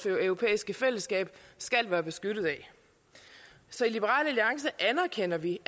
europæiske fællesskab skal være beskyttet af så i liberal alliance anerkender vi